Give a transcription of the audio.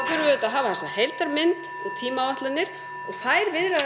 við auðvitað að hafa þessa heildarmynd og tímaáætlanir og þær viðræður